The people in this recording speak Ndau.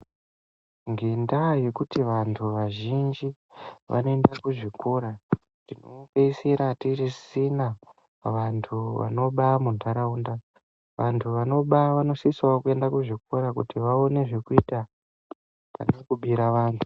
Ngendaa yekuti vantu vazhinji voenda kuzvikora tinopeisira tisisina vantu vanoba muntharaunda. Vantu vanoba vanosisawo kuenda kuzvikora kuti vaone zvekuita pane kubira vanthu.